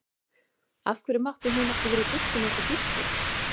Af hverju mátti hún ekki vera í buxum eins og Gísli?